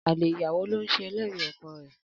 Alè ìyàwó ló ń ṣe ẹlẹ́rìí ọkọ rẹ̀.